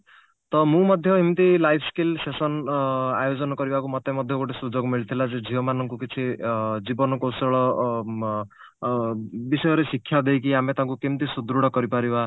ତ ମୁଁ ମଧ୍ୟ ଏମତି life skill session ଅ ଆୟୋଜନ କରିବାକୁ ମୋତେ ମଧ୍ୟ ଗୋଟେ ସୁଯୋଗ ମିଳିଥିଲା ଯଉ ଝିଅ ମାନଙ୍କୁ କିଛି ଅ ଜୀବନ କୌଶଳ ଅ ବିଷୟରେ ଶିକ୍ଷା ଦେଇକି ଆମେ ତାଙ୍କୁ କେମିତି ସୁଦୃଢ କରିପାରିବା